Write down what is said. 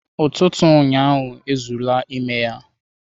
Ututu ụnyahụ ezuru ime ya